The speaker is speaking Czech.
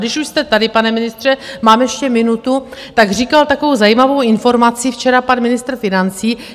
Když už jste tady, pane ministře - mám ještě minutu - tak říkal takovou zajímavou informaci včera pan ministr financí.